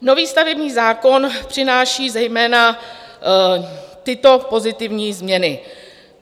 Nový stavební zákon přináší zejména tyto pozitivní změny.